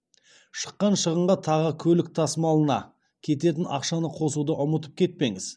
шыққан шығынға тағы көлік тасымалына кететін ақшаны қосуды ұмытып кетпеңіз